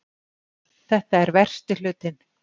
Þetta er versti hlutinn